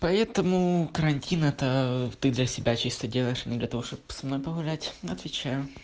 поэтому карантин это ты для себя чисто делаешь а не для того чтобы со мной погулять отвечаю